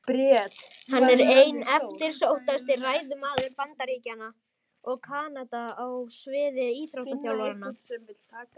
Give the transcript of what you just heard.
Hann er einn eftirsóttasti ræðumaður Bandaríkjanna og Kanada á sviði íþróttaþjálfunar.